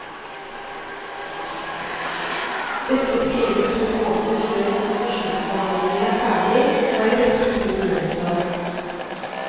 Dette skrives to måneder før konsesjonsbehandlingen er ferdig, og en rekke ting gjenstår.